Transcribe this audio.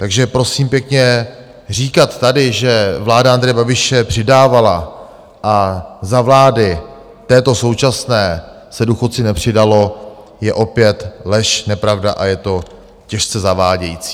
Takže prosím pěkně, říkat tady, že vláda Andreje Babiše přidávala a za vlády této současné se důchodcům nepřidalo, je opět lež, nepravda a je to těžce zavádějící.